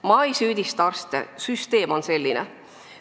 Ma ei süüdista arste, süsteem on selline.